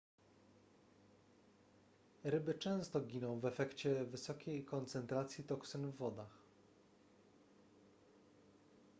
ryby często giną w efekcie wysokiej koncentracji toksyn w wodach